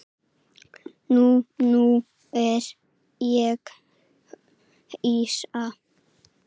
Nei, nú er ég hissa!